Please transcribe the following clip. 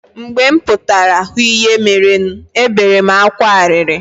Mgbe m pụtara hụ ihe merenu, ebere m akwa arịrị.